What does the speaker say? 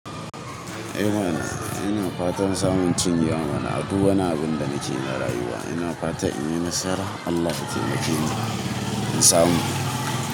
Eh mana, ina fatan samun cinyewa mana aduk wani abin da nakeyi na rayuwa. Ina fatan in yi nasara. Allah yataimakeni insamu.